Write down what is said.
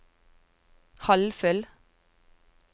halvfull